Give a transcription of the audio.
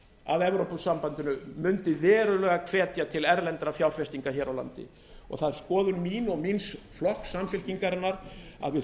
að evrópusambandinu mundi verulega hvetja til verulegra fjárfestinga hér á landi og það er skoðun mín og míns flokks samfylkingarinnar að við